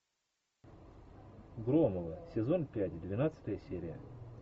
громовы сезон пять двенадцатая серия